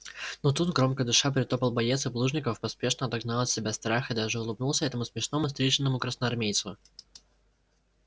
но тут громко дыша притопал боец и плужников поспешно отогнал от себя страх и даже улыбнулся этому смешному стриженому красноармейцу